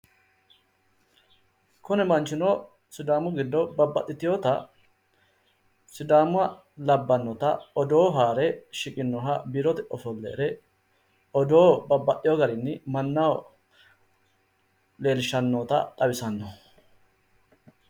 Kuni manchino sidaamu giddo babbaxxiteewota sidaama labbannota odoo hare shiqinnoha biirote ofolle hee're odoo babbaxxeewo garinni mannaho leellishshannota xawissanno.